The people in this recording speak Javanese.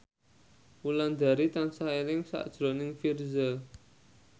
Wulandari tansah eling sakjroning Virzha